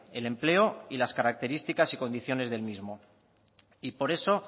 el empleo y las características y condiciones del mismo y por eso